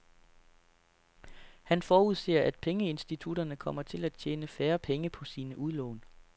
Han forudser, at pengeinstitutterne kommer til at tjene færre penge på sine udlån.